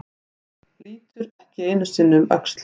Lítur ekki einu sinni um öxl.